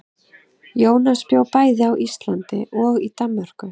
Jónas bjó bæði á Íslandi og í Danmörku.